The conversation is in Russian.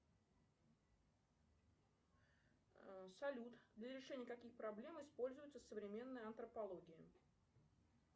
салют для решения каких проблем используется современная антропология